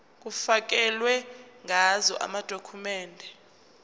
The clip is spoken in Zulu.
kufakelwe ngazo amadokhumende